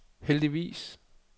heldigvis